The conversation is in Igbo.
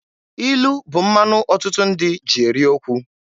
Ilu bụ mmanụ ọtụtụ ndị ji eri okwu.